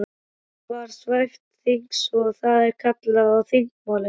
Málið var svæft eins og það er kallað á þingmáli.